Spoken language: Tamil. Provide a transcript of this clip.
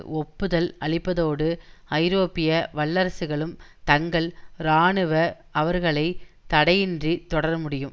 ஒப்புதல் அளிப்பதோடு ஐரோப்பிய வல்லரசுகளும் தங்கள் இராணுவ அவர்க்களை தடையின்றித் தொடரமுடியும்